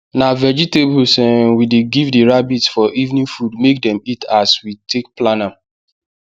na vegetables um we dey give the rabbits for evening food make dem eat as we take plan am